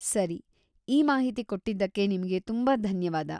ಸರಿ, ಈ ಮಾಹಿತಿ ಕೊಟ್ಟಿದ್ದಕ್ಕೆ ನಿಮ್ಗೆ ತುಂಬಾ ಧನ್ಯವಾದ.